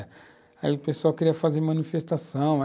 Aí o pessoal queria fazer manifestação.